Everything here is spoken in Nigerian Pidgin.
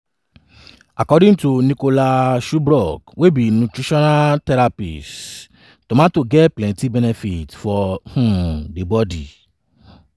according to nicola shubrook wey be nutritional therapist tomato get plenti benefits for um di bodi.